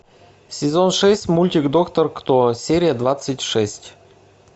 сезон шесть мультик доктор кто серия двадцать шесть